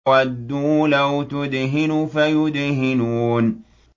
وَدُّوا لَوْ تُدْهِنُ فَيُدْهِنُونَ